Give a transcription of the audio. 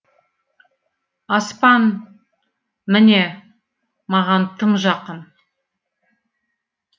аспан міне маған тым жақын